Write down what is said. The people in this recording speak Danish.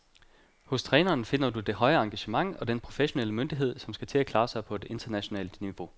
Hos træneren finder du det høje engagement og den professionelle myndighed, som skal til at klare sig på internationalt niveau.